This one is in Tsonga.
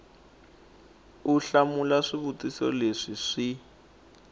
u hlamula swivutiso leswi swi